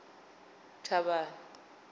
thavhani